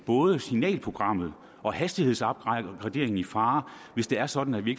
både signalprogrammet og hastighedsopgraderingen i fare hvis det er sådan at vi